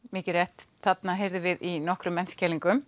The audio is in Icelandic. mikið rétt þarna heyrðum við í nokkrum